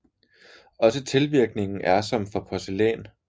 Også tilvirkningen er som for porcelæn